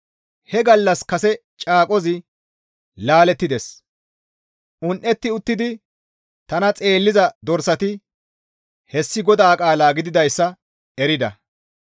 He gallas kase caaqozi laalettides; un7etti uttidi tana xeelliza dorsati hessi GODAA qaala gididayssa erida.